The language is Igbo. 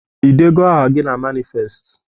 Ị deego aha gị na manifest?